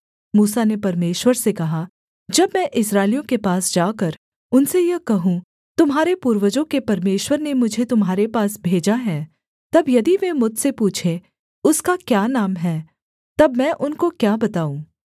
मूसा ने परमेश्वर से कहा जब मैं इस्राएलियों के पास जाकर उनसे यह कहूँ तुम्हारे पूर्वजों के परमेश्वर ने मुझे तुम्हारे पास भेजा है तब यदि वे मुझसे पूछें उसका क्या नाम है तब मैं उनको क्या बताऊँ